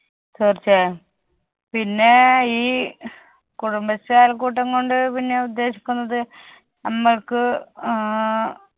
തീർച്ചയായും പിന്നെ ഈ കുടുംബശ്രീ അയൽക്കൂട്ടം കൊണ്ട് പിന്നെ ഉദ്ദേശിക്കുന്നത് നമ്മൾക്ക് ഏർ